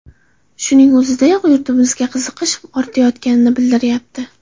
Shuning o‘ziyoq yurtimizga qiziqish ortayotganini bildirayapti.